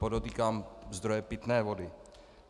Podotýkám - zdroje pitné vody.